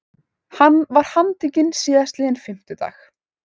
Hann var handtekinn síðastliðinn fimmtudag